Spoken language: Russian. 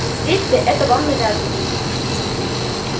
действие это вам навязано